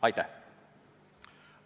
Aitäh!